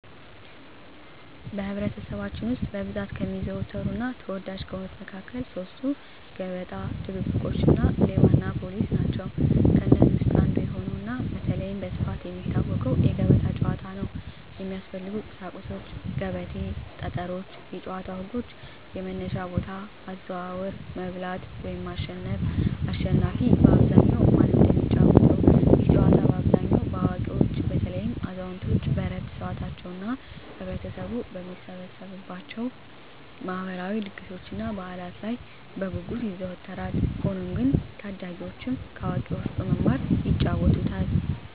በኅብረተሰባችን ውስጥ በብዛት ከሚዘወተሩና ተወዳጅ ከሆኑት መካከል ሦስቱ፤ ገበጣ፣ ድብብቆሽ እና ሌባና ፖሊስ ናቸው። ከእነዚህ ውስጥ አንዱ የሆነውና በተለይም በስፋት የሚታወቀው የገበጣ ጨዋታ ነው። የሚያስፈልጉ ቁሳቁሶች 1; ገበቴ 2; ጠጠሮች የጨዋታው ህጎች - የመነሻ ቦታ፣ አዘዋወር፣ መብላት (ማሸነፍ)፣አሽናፊ በአብዛኛው ማን እንደሚጫወተው፤ ይህ ጨዋታ በአብዛኛው በአዋቂዎች (በተለይም አዛውንቶች በዕረፍት ሰዓታቸው) እና ህብረተሰቡ በሚሰበሰብባቸው የማህበራዊ ድግሶችና በዓላት ላይ በጉጉት ይዘወተራል። ሆኖም ግን ታዳጊዎችም ከአዋቂዎች በመማር ይጫወቱታል።